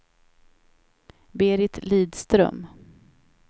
Berit Lidström